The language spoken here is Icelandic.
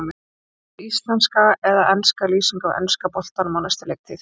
Hvort viltu íslenska eða enska lýsingu af enska boltanum á næstu leiktíð?